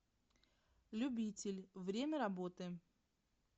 любитель время работы